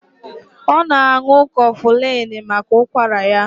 Ọ na-ṅù cofulini maka ụkwara ya